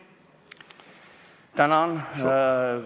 Tänan!